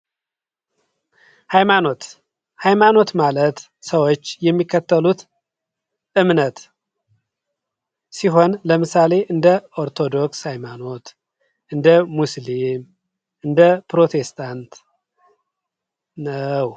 ሃይማኖት ሃይማኖት ማለት ሰወች የሚከተሉት ዕምነት ሲሆን ለምሳሌ፦ እንደ ኦርቶዶክስ ሀይማኖት እንደ ሙስሊም እንደ ፕሮቴስታንት ነው።